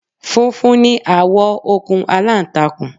Funfun ni àwọ̀ okùn aláǹtakùn